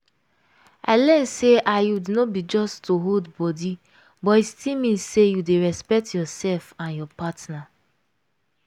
i learn say iud no be just to hold body but e still mean say you dey respect yourself and your partner.